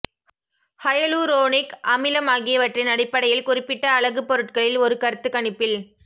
hyaluronic அமிலம் ஆகியவற்றின் அடிப்படையில் குறிப்பிட்ட அழகு பொருட்களில் ஒரு கருத்துக் கணிப்பில்